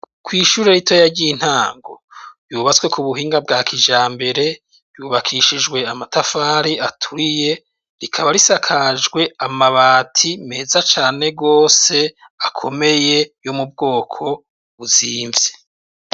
kw'ishuri ritoya ryintango yubatswe ku buhinga bwa kijambere, yubakishijwe amatafari aturiye rikaba risakajwe amabati meza cane gose akomeye yo mubwoko buzimvye.